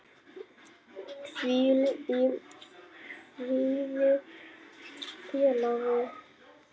Hvíl í friði félagi.